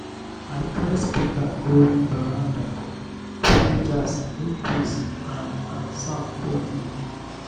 i carry speaker go veranda play jazz make breeze and and sound cool me.